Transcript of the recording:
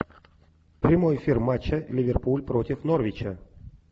прямой эфир матча ливерпуль против норвича